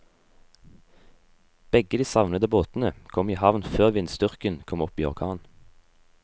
Begge de savnede båtene kom i havn før vindstyrken kom opp i orkan.